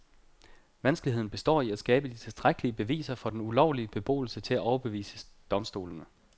Vanskeligheden består i at skabe de tilstrækkelige beviser for den ulovlige beboelse til at overbevise domstolene.